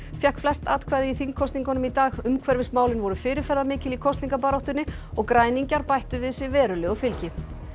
fékk flest atkvæði í þingkosningum í dag umhverfismálin voru fyrirferðarmikil í kosningabaráttunni og græningjar bættu við sig verulegu fylgi